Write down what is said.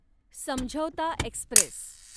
Samjhauta Express